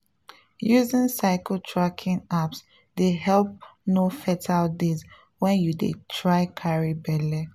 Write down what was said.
using cycle tracking apps dey help know fertile days when you dey try carry belle.